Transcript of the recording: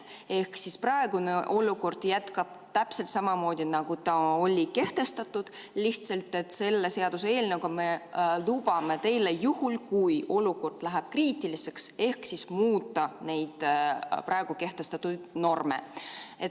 Ehk siis praegune olukord jätkub täpselt samamoodi, nagu ta oli kehtestatud, lihtsalt et selle seaduseelnõuga me lubame teile juhul, kui olukord läheb kriitiliseks, muuta neid praegu kehtestatud norme.